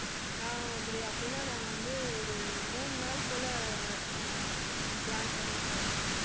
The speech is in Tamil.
நான் இப்படி அப்படின்னா நாங்க வந்து ஒரு மூணு நாள் போல ஆஹ் ப~ plan பண்ணிட்டு